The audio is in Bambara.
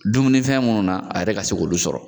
Dumuni fɛn munnu na a yɛrɛ ka se k'olu sɔrɔ.